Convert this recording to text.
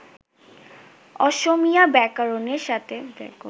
অসমীয়া ব্যাকরণের সাথে